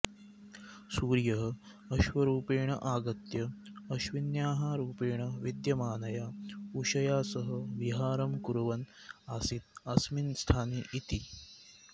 सूर्यः अश्वरूपेण आगत्य अश्विन्याः रूपेण विद्यमानया उषया सह विहारं कुर्वन् आसीत् अस्मिन् स्थाने इति